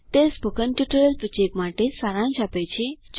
તે spoken tutorial project માટે સારાંશ આપે છે